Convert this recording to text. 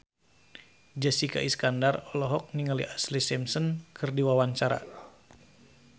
Jessica Iskandar olohok ningali Ashlee Simpson keur diwawancara